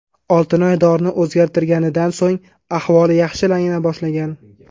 Oltinoy dorini o‘zgartirganidan so‘ng ahvoli yaxshilana boshlagan.